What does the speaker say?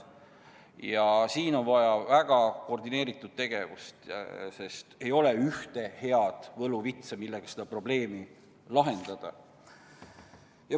Ja siin on vaja väga koordineeritud tegevust, sest ei ole ühte head võluvitsa, millega seda probleemi lahendada.